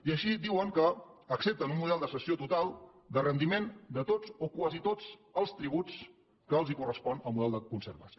i així diuen que accepten un model de cessió total de rendiment de tots o quasi tots els tributs que els correspon al model de concert basc